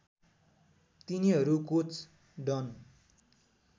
तिनीहरू coach done